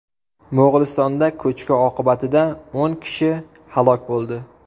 Mo‘g‘ulistonda ko‘chki oqibatida o‘n kishi halok bo‘ldi.